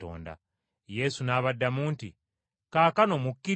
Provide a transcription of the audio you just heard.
Yesu n’abaddamu nti, “Kaakano mukkirizza?